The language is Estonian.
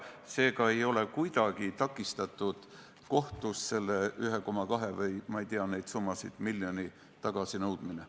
Seega ei ole kuidagi takistatud kohtus selle 1,2 miljoni tagasinõudmine.